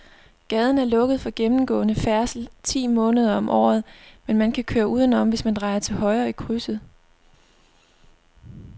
Gaden er lukket for gennemgående færdsel ti måneder om året, men man kan køre udenom, hvis man drejer til højre i krydset.